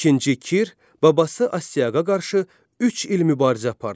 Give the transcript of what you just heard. İkinci Kir babası Astiaqa qarşı üç il mübarizə apardı.